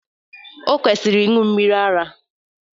Ọ kwụsịrị ịṅụ mmiri ara.